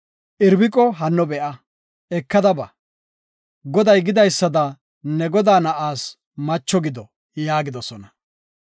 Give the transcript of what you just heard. Irbiqo hanno be7a; ekada ba; Goday gidaysada ne godaa na7aas macho gido” yaagidosona.